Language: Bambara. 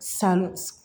San